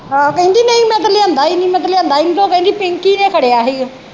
ਆਹੋ ਕਹਿੰਦੀ ਨਹੀਂ ਮੈ ਤਾ ਲਿਆਂਦਾ ਈ ਨਹੀਂ ਮੈ ਤਾ ਲਿਆਂਦਾ ਈ ਨਹੀਂ ਤੇ ਉਹ ਕਹਿੰਦੀ ਪਿੰਕੀ ਨੇ ਖੜਿਆ ਹੀ ਗਾ।